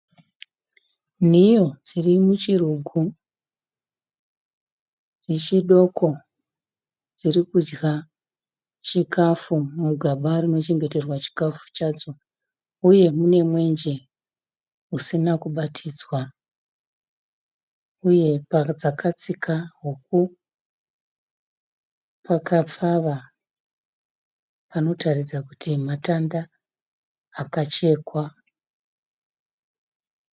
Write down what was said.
Nhiyo dziri muchirugu. Dzichi doko dzirikudya chikafu mugaba rinochengeterwa chikafu chadzo uye mune mwenje usina kubatidzwa uye padzakatsika huku pakapfava panotaridza kuti matanda akachekwa.